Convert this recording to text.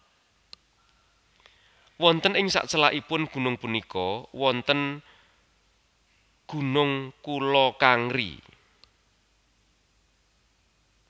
Wonten ing sacelakipun gunung punika wonten gunung Kula Kangri